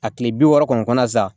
A tile bi wɔɔrɔ kɔni kɔnɔ sa